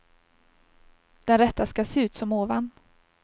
Den rätta ska se ut som ovan.